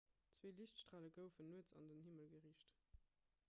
zwee liichtstrale goufen nuets an den himmel geriicht